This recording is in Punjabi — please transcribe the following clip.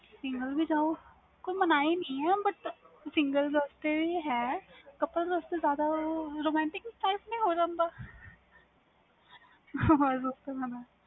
singal ਵੀ ਜਾਓ ਕੋਈ ਮਨਾਹੀ ਨਹੀਂ ਵ couple ਵਾਸਤੇ ਵੀ ਹੈ ਜਿਆਦਾ romantic ਹੋ ਜਾਂਦਾ ਵ